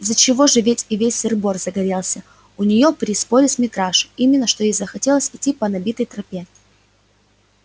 из-за чего же ведь и весь сыр-бор загорелся у неё при споре с митрашей именно что ей захотелось идти по набитой тропе